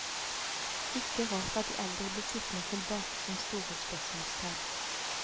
Ikke rart at de eldre blir sittende tilbake som store spørsmålstegn.